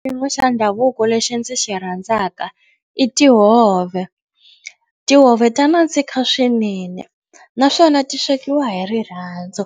Xiyimo xa ndhavuko lexi ndzi xi rhandzaka i tihove. Tihove ta nandzika swinene naswona ti swekiwa hi rirhandzu.